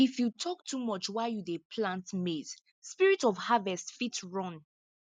if you talk too much while you dey plant maize spirit of harvest fit run